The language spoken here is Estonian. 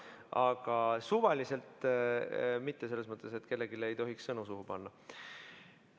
Aga suvaliselt mitte, selles mõttes, et kellelegi ei tohiks sõnu suhu panna.